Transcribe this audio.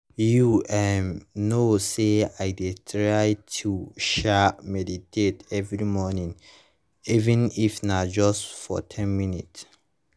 you um know say i dey try to um meditate every morning even if na just for ten minutes